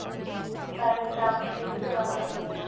child chalks ਤੇ ਵੀ ਲਗਾ ਸਕਦੇ ਹਾਂ